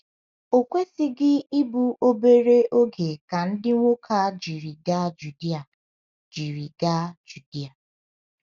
O kwesịghị ịbụ obere oge ka ndị nwoke a jiri gaa Judea. jiri gaa Judea.